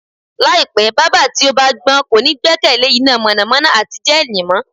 Láìpé̩, bábà tí ó bá gbó̩n kò ní gbé̩kè̩lé iná mò̩nàmó̩ná àti jé̩é̩nì mó̩